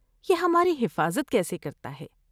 یہ ہماری حفاظت کیسے کرتا ہے؟